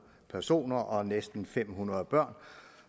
personer og næsten fem hundrede børn